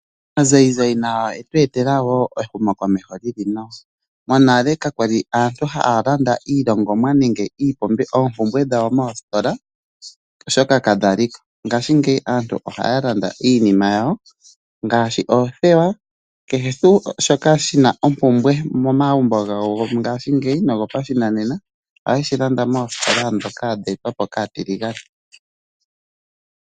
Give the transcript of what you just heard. Aazayizayi nayo oye tu etela wo ehumokomeho li li nawa. Monale aantu kaya li haya landa iilongomwa nenge oompumbwe dhawo moositola, oshoka kadha li ko. Ngaashingeyi aantu ohaya landa iinima yawo ngaashi oothewa nakehe tuu shoka shi na ompumbwe momagumbo gawo ngaashingeyi nogopashinanena ohaye shi landa moositola ndhoka dhe etwa po kaatiligane.